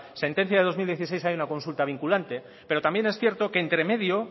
sentencia del dos mil dieciséis hay una consulta vinculante pero también es cierto que